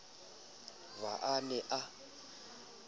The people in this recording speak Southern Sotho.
v ha a ne a